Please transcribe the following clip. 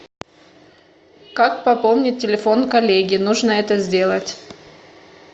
как пополнить телефон коллеги нужно это сделать